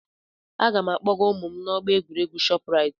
Aga m akpọga ụmụ m n'ọgbọ egwuregwu Shoprite.